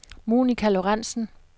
Monica Lorentzen